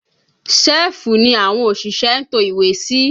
Sẹ́ẹ̀fù ni àwọn òṣìṣẹ́ ń to ìwé sí